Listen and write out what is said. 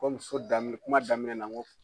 Kɔmi so dami kuma daminɛ na n ko